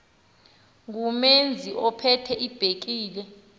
ngumeazi ophethe ibhekile